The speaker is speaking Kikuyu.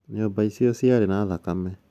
"Nyũmba icu ciare na thakame